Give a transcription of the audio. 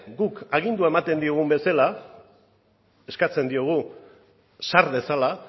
guk agindua ematen diogun bezala eskatzen diogu sar dezala